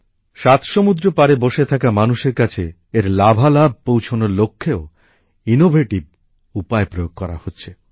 সাত সমুদ্র পারে বসে থাকা মানুষের কাছে এর সুফল পৌছনোর জন্যও নতুন নতুন পন্থাপদ্ধতি প্রয়োগ করা হচ্ছে